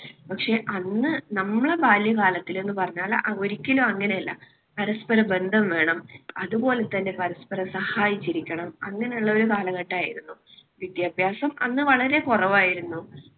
പക്ഷേ അന്ന് നമ്മുടെ ബാല്യകാലത്തിൽ എന്ന് പറഞ്ഞാൽ ഒരിക്കലും അങ്ങനെയല്ല. പരസ്പരബന്ധം വേണം അതുപോലെതന്നെ പരസ്പരം സഹായിച്ചിരിക്കണം. അങ്ങനെയുള്ള ഒരു കാലഘട്ടമായിരുന്നു. വിദ്യാഭ്യാസം അന്ന് വളരെ കുറവായിരുന്നു.